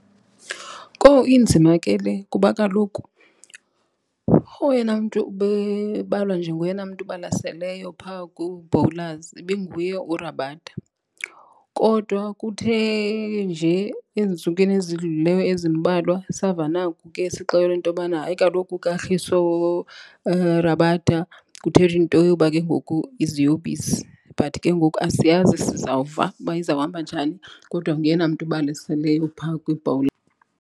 Kowu, inzima ke le kuba kaloku oyena mntu bebalwa njengoyena mntu ubalaseleyo phaa ku-bowlers ibinguye uRabada. Kodwa kuthe nje ezintsukwini ezidlulileyo ezimbalwa sava naku ke sixelelwa intobana hayi kaloku uKagiso Rabada kuthethwa into yoba ke ngoku iziyobisi but ke ngoku asiyazi sizawuva uba izawuhamba njani. Kodwa nguyena mntu ubalaseleyo phaa kwi-bowler.